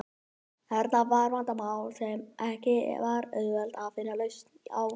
Þarna var vandamál sem ekki var auðvelt að finna lausn á.